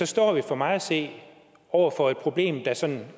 står vi for mig at se over for et problem der sådan